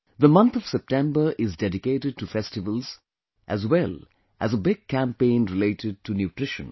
The month of September is dedicated to festivals as well as a big campaign related to nutrition